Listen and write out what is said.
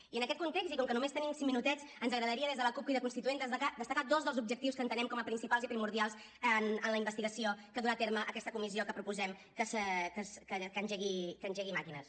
i en aquest context i com que només tenim cinc minutets ens agradaria des de la cup crida constituent destacar dos dels objectius que entenem com a principals i primordials en la investigació que durà a terme aquesta comissió que proposem que engegui màquines